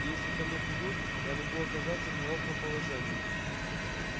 и если ко мне придут я могу оказаться в неловком положении